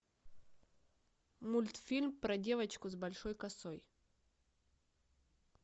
мультфильм про девочку с большой косой